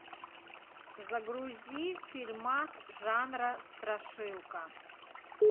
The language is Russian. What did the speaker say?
загрузи фильмас жанра страшилка